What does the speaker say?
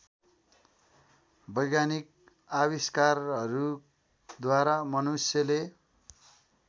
वैज्ञानिक आविष्कारहरूद्वारा मनुष्यले